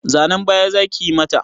Zanan baya zakiyi mata?